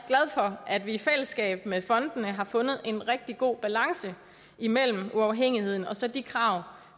for at vi i fællesskab med fondene har fundet en rigtig god balance imellem uafhængigheden og så de krav